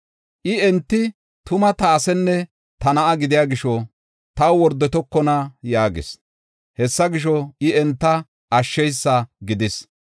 I, “Enti tuma ta asenne ta na7a gidiya gisho, taw wordotokona” yaagis. Hessa gisho, I enta ashsheysa gidis.